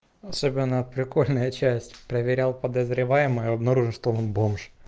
особенно прикольная часть проверял подозреваемую обнаружил что он бомж